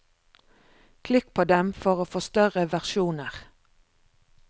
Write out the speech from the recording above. Klikk på dem for å få større versjoner.